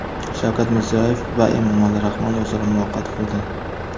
Shavkat Mirziyoyev va Emomali Rahmon o‘zaro muloqot qildi.